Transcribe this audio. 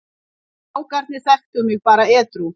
Strákarnir þekktu mig bara edrú.